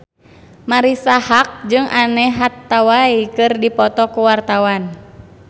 Marisa Haque jeung Anne Hathaway keur dipoto ku wartawan